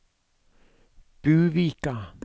Buvika